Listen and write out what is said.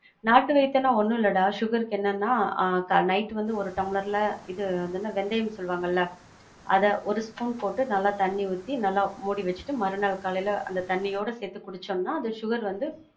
நாட்டு வைத்தியம்னா ஒன்னும் இல்லடா, sugar க்கு என்னென்னா, ஆஹ் night வந்து ஒரு டம்ப்ளர்ல இது அதென்ன வெந்தயம் சொல்லுவாங்கல, அத ஒரு spoon போட்டு நல்ல தண்ணி ஊத்தி, நல்லமூடி வச்சிட்டு, மறுநாள் காலையில அந்த தண்ணியோட சேந்து குடிச்சோம்னா அந்த sugar வந்து,